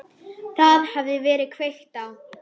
Það hafði verið kveikt á